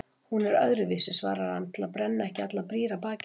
Hún er öðruvísi, svarar hann til að brenna ekki allar brýr að baki sér.